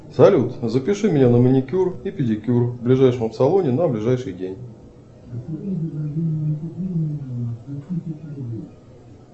салют запиши меня на маникюр и педикюр в ближайшем салоне на ближайший день